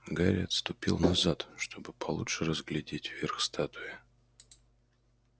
гарри отступил назад чтобы получше разглядеть верх статуи